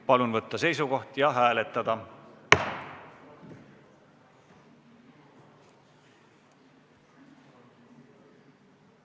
Palun võtta seisukoht ja hääletada!